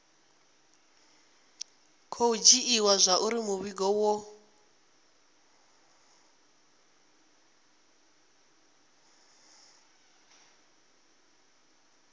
khou dzhiiwa zwauri muvhigo wo